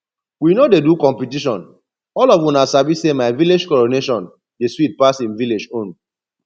we no dey do competition all of una sabi say my village coronation dey sweet pass im village own